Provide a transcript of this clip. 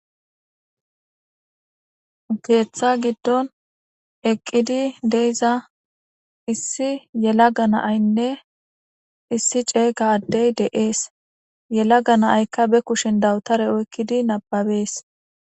Geeththa giddon eqqidi deiza issi yela ga naaynne issi ceega addey de7ees yelaga naaykka be kushin dawutare oykkidi nababees